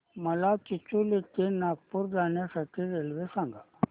मला चिचोली ते नागपूर जाण्या साठी रेल्वे सांगा